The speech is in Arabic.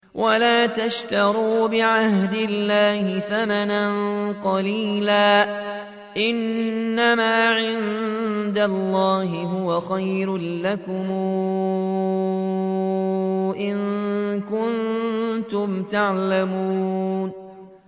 وَلَا تَشْتَرُوا بِعَهْدِ اللَّهِ ثَمَنًا قَلِيلًا ۚ إِنَّمَا عِندَ اللَّهِ هُوَ خَيْرٌ لَّكُمْ إِن كُنتُمْ تَعْلَمُونَ